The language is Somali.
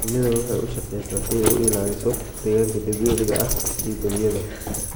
Shinnidu waxay u shaqeysaa si ay u ilaaliso deegaanka dabiiciga ah ee balliyada.